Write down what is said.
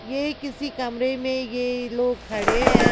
ये किसी कमरे में ये लोग खड़े हैं।